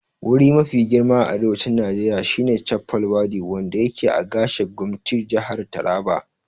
Wuri mafi girma a Arewacin Najeriya shine Chappal Waddi wanda yake a Gasha gumti jihar Taraba